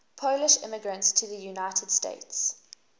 polish immigrants to the united states